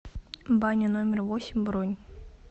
баня номер восемь бронь